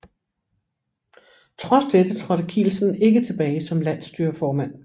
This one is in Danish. Trods dette trådte Kielsen ikke tilbage som landsstyreformand